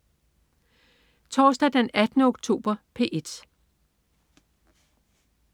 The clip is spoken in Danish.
Torsdag den 18. oktober - P1: